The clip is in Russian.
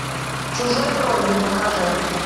чужой кровью покажи